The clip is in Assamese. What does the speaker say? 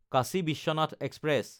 কাশী বিশ্বনাথ এক্সপ্ৰেছ